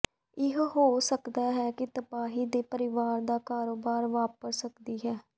ਇਹ ਹੋ ਸਕਦਾ ਹੈ ਕਿ ਤਬਾਹੀ ਦੇ ਪਰਿਵਾਰ ਦਾ ਕਾਰੋਬਾਰ ਵਾਪਰ ਸਕਦੀ ਹੈ